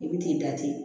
I bi t'i da ten